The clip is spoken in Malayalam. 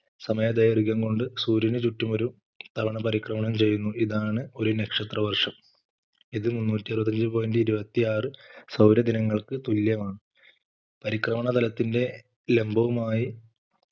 സമയ ദൈർഘ്യം കൊണ്ട് സൂര്യന് ചുറ്റും ഒരു തവണ പരിക്രമണം ചെയ്യുന്നു ഇതാണ് ഒരു നക്ഷത്ര വർഷം ഇത് മുന്നൂറ്റി അറുപത്തി അഞ്ചേ point ഇരുപത്തിയാറു സൗര ദിനങ്ങൾക്ക് തുല്യമാണ് പരിക്രമണ തലത്തിന്റെ ലംബവുമായി